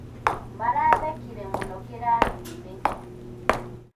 Marathekĩre mũno kĩrathiinĩ.